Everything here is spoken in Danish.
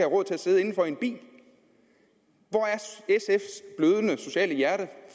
råd til at sidde indenfor i en bil hvor er sfs blødende sociale hjerte